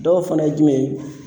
Dɔw fana ye jumɛn ye